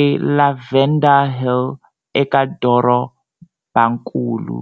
eLavender Hill eka Dorobakulu.